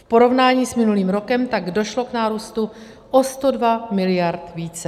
V porovnání s minulým rokem tak došlo k nárůstu o 102 mld. více.